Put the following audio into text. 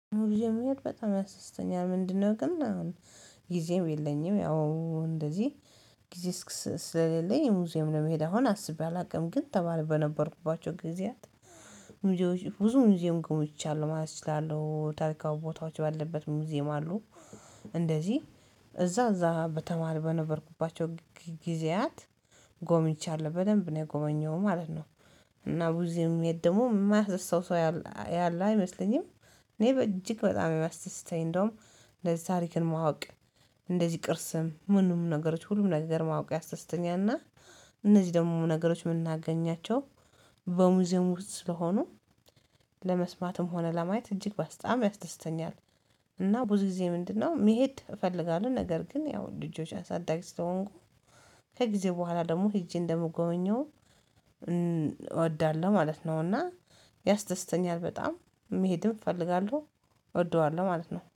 ሙዚየም መሄድ በጣም ያስተኛል ምንድነው? ግን አሁን ጊዜም የለኝም ያው እንደዚህ ጊዜ ስለሌለ ሙዚየም ነው ለመሄድ አሁን አስቤ አላውቅም። ግን ተማሪ በነበርኩባቸው ጊዜያት ሙዚየም ብዙ ጊዜም ገብቻለሁ ማለት እችላለሁ። ታሪካዊ ቦታዎች ባለበት ሙዚየም አሉ። እንደዚህ እዛ በተማሪ በነበርኩባቸው ጊዜያት ጎምኝቼ አለሁአበደንብ ነው የጎበመኘሁት ማለት ነው። እና መዙየም መሄድ ደግሞ እማያስደስተው ሰው ያለ አይመስለኝም። እኔ በእጅግ በጣም የሚያስደስተኝ እንደውም ለዚህ ታሪክን ማወቅ እንደዚህ ቅርስም ምንም ነገሮች ሁሉም ነገር ማወቅ ያስደስተኛል። እና እነዚህ ደግሞ ነገሮች የምናገኛቸው በሙዚየም ውስጥ ስለሆኑ ለመስማትም ሆነ ለማየት እጅግ በጣም ያስደስተኛል። እና ብዙ ጊዜ ምንድነው መሄድ እፈልጋለሁ ነገር ግን ያው ለጆች አሳዳጊ ስለሆንኩኝ ከጊዜ በኋላ ደግሞ ሄጄ እንደምጎበኘው ማለት ነው። እና ያስደስተኛል በጣም መሄድም እፈልጋለሁ እወደዋለሁ ማለት ነው